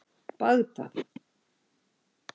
Bagdad